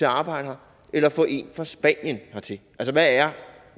at arbejde eller at få en fra spanien hertil